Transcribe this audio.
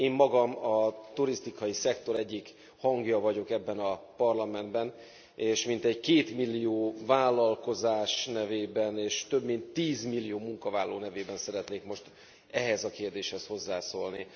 Én magam a turisztikai szektor egyik hangja vagyok ebben a Parlamentben, és mintegy kétmillió vállalkozás nevében és több mint tízmillió munkavállaló nevében szeretnék most ehhez a kérdéshez hozzászólni.